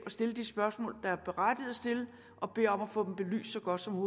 at stille de spørgsmål der er berettiget at stille og beder om at få dem belyst så godt som